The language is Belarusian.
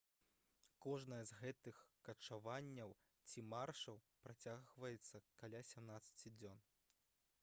кожнае з гэтых качаванняў ці маршаў працягваецца каля 17 дзён